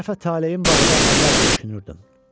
Bir dəfə talehim barədə acı-acı düşünürdüm.